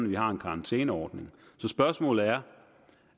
vi har en karantæneordning så spørgsmålet er